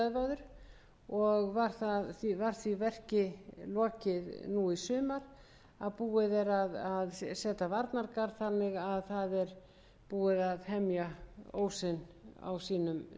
stöðvaður og var því lokið nú í sumar að búið að búið er að setja varnargarð þannig að búið er að hemja ósinn nærri sínum forna stað